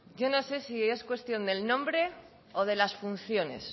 yo no sé si es cuestión del nombre o de las funciones